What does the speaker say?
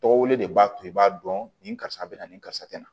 Tɔgɔ wele de b'a to i b'a dɔn nin karisa bɛ na nin karisa tɛ na